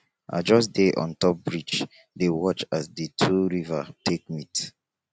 i just dey on top bridge dey watch as di two river take meet